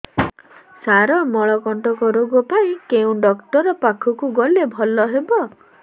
ସାର ମଳକଣ୍ଟକ ରୋଗ ପାଇଁ କେଉଁ ଡକ୍ଟର ପାଖକୁ ଗଲେ ଭଲ ହେବ